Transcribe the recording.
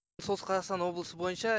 солтүстік қазақстан облысы бойынша